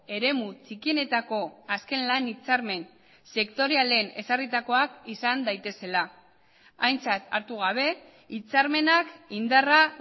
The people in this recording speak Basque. eremu txikienetako azken lan hitzarmen sektorialen ezarritakoak izan daitezela aintzat hartu gabe hitzarmenak indarra